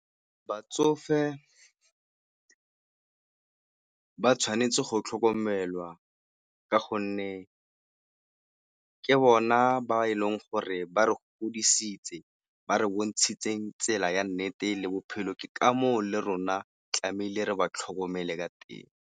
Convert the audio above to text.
Batsofe ka tshwanetse go tlhokomelwa ka gonne ke bona ba e leng gore ba re godisitse, ba re bontshitsheng tsela ya nnete le bophelo ke ka moo le rona tlamehile re ba tlhokomele ka teng.